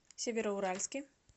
североуральске